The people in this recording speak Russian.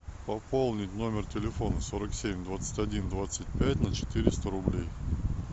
пополнить номер телефона сорок семь двадцать один двадцать пять на четыреста рублей